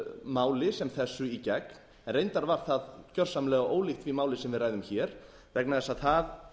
máli sem þessu í gegn reyndar var það gjörsamlega ólíkt því máli sem við ræðum hér vegna þess að